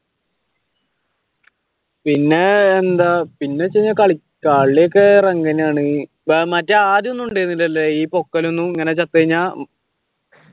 പിന്നെയെന്താ കളിയൊക്കെ എങ്ങനെയാണ് മറ്റേ ആദ്യം ഒന്നും ഉണ്ടായിരുന്നില്ലല്ലോ ഈ പോക്കലൊന്നും ഇങ്ങനെ ചത്ത് കഴിഞ്ഞ